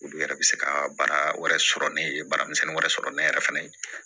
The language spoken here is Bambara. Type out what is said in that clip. Olu yɛrɛ bɛ se ka baara wɛrɛ sɔrɔ ne ye baaramisɛnnin wɛrɛ sɔrɔ ne yɛrɛ fɛnɛ ye